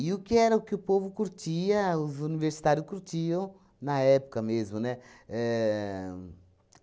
E o que era o que o povo curtia, os universitários curtiam na época mesmo, né? Éh